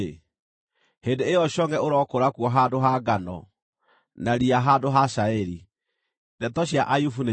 hĩndĩ ĩyo congʼe ũrokũra kuo handũ ha ngano, na riya handũ ha cairi.” Ndeto cia Ayubu nĩciathira.